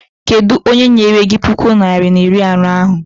Kedụ onye nyere gị puku naịra na iri anọ ahụ?